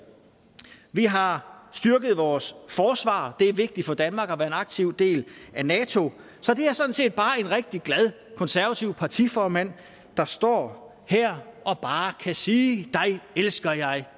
vi har styrket vores forsvar det er vigtigt for danmark at være en aktiv del af nato så det er sådan set bare en rigtig glad konservativ partiformand der står her og bare kan sige dig elsker jeg